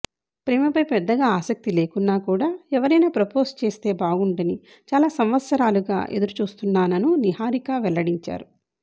ప్రేమపై పెద్దగా ఆసక్తి లేకున్నా కూడా ఎవరైనా ప్రపోజ్ చేస్తే బాగుండని చాలా సంవత్సరాలుగా ఎదురు చూస్తున్నానను నిహారిక వెల్లడించారు